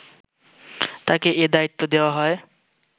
তাকে এ দায়িত্ব দেওয়া হয়